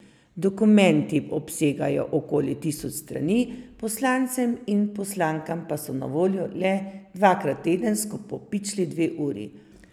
Dokumenti obsegajo okoli tisoč strani, poslancem in poslankam pa so na voljo le dvakrat tedensko po pičli dve uri.